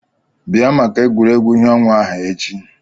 Bịa maka egwuregwu ìhè ọnwa ahụ echi!